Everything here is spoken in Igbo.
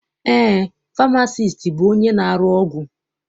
Eé, famasiisti bụ onye na-arụ ọgwụ.